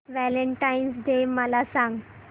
Valentine's Day मला सांग